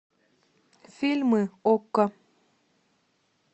фильмы окко